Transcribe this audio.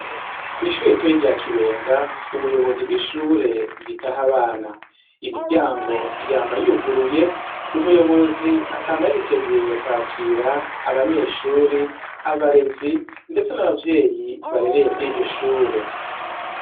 Kw'ishure ritoyi rya Kibenga, ubuyobozi bw'ishure bwitaho abana. Imiryango yama yuguruye, umuyobozi akama yiteguye kwakira abanyeshure, abarezi ndetse n'abavyeyi barereye kuri iryo shure.